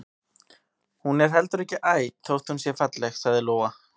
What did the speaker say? Hún er heldur ekki æt þótt hún sé falleg, sagði Lóa.